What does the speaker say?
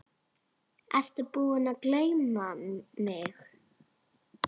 Ertu búinn að gleyma mig?